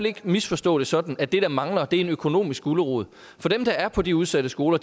ikke misforstå det sådan at det der mangler er en økonomisk gulerod for dem der er på de udsatte skoler